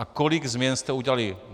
A kolik změn jste udělali?